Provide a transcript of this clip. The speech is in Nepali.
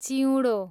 च्युडो